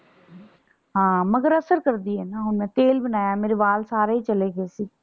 ਹਾਂ। ਮਗਰ ਅਸਰ ਕਰਦੀ ਏ ਨਾ। ਹੁਣ ਮੈਂ ਤੇਲ ਬਣਾਇਆ ਮੇਰੇ ਵਾਲ ਸਾਰੇ ਹੀ ਚੱਲੇ ਗਏ ਸੀ।